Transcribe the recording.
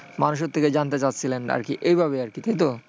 মানুষের থেকে জানতে চাচ্ছিলেন আর কি এইভাবে আরকি তাইতো?